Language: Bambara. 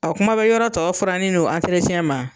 kuma be yɔrɔ tɔ furanni n'u ma?